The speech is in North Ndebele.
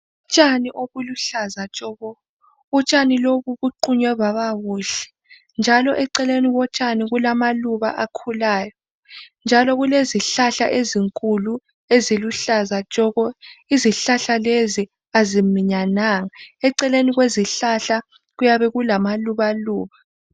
Utshani obuluhlaza tshoko. Utshani lobu buqunywe baba buhle njalo eceleni kotshani kulamaluba akhulayo njalo kulezihlahla ezinkulu eziluhlaza tshoko. Izihlahla lezi aziminyananga. Eceleni kwesihlahla kuyabe kulamaluba.